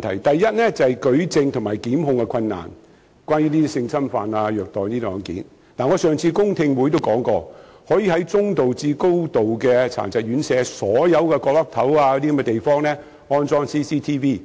第一，就是舉證和檢控困難——關於這類性侵犯和虐待案件——我在上次公聽會已說過，可以在服務中度至嚴重殘疾人士的院舍範圍內，所有牆角等地方安裝 CCTV，